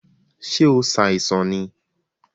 Ṣe o ṣàìsàn ni?